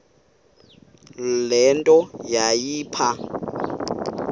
le nto yayipha